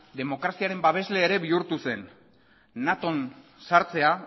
demokraziaren babesle ere bihurtu zen naton sartzea